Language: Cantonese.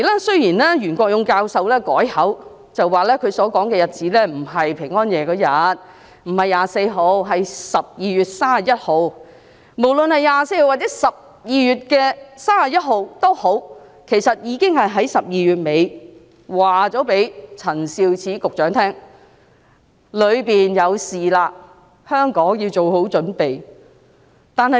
雖然袁國勇教授後來改口，指他說的日子不是12月24日平安夜當天，而是12月31日，無論是12月24日或31日，他已經在12月底告訴陳肇始局長，內地有事情發生，香港要做好準備。